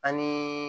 Ani